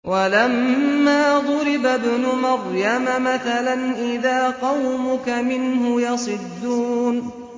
۞ وَلَمَّا ضُرِبَ ابْنُ مَرْيَمَ مَثَلًا إِذَا قَوْمُكَ مِنْهُ يَصِدُّونَ